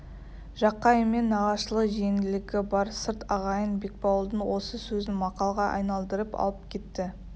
жақайыммен нағашылы-жиенділігі бар сырт ағайын бекбауылдың осы сөзін мақалға айналдырып алып кетті